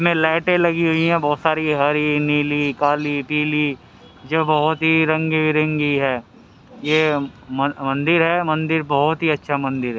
में लाइटे लगी हुई है बहुत सारी हरी नीली काली पीली जो बहुत ही रंगी बिरंगी है ये म मंदिर है मंदिर बहुत ही अच्छा मंदिर है।